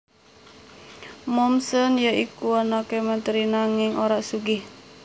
Mommsen ya iku anake menteri nanging ora sugih